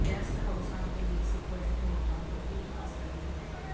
guest ਹਾਊਸਾਂ ਅਤੇ basic budget ਹੋਟਲਾਂ ਤੋਂ ਕੀ ਆਸ ਕਰਨੀ ਹੈ